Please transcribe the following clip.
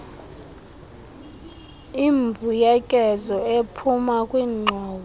imbuyekezo ephuma kwingxowa